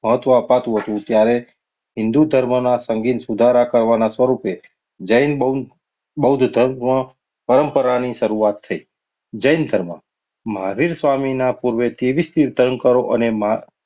મહત્વ આપાત થતું હતું. ત્યારે હિન્દુ ધર્મમાં સંગીત સુધારા કરવાના સ્વરૂપે જૈન બૌ~બૌદ્ધ ધર્મ પરંપરાની શરૂઆત થઈ. જૈન ધર્મ મહાવીર સ્વામીના પૂર્વે તેવીસ તીર્થંકરો અને